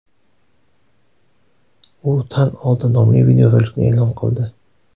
U tan oldi” nomli videorolikni e’lon qildi .